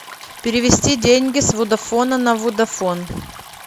перевести деньги с водафона на водафон